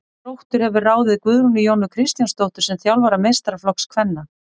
Þróttur hefur ráðið Guðrúnu Jónu Kristjánsdóttur sem þjálfara meistaraflokks kvenna.